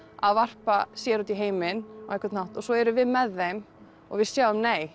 að varpa sér út í heiminn á einhvern hátt og svo erum við með þeim og við sjáum nei